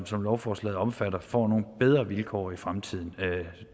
som lovforslaget omfatter får nogle bedre vilkår i fremtiden